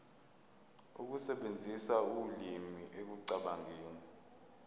ukusebenzisa ulimi ekucabangeni